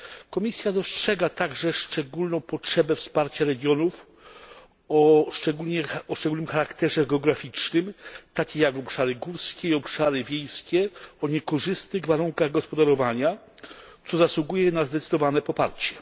Komisja dostrzega także szczególną potrzebę wsparcia regionów o szczególnym charakterze geograficznym, takie jak obszary górskie i obszary wiejskie o niekorzystnych warunkach gospodarowania, co zasługuje na zdecydowane poparcie.